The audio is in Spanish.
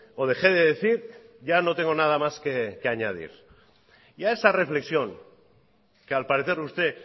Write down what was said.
o dejé de decir ya no tengo nada más que añadir y a esa reflexión que al parecer usted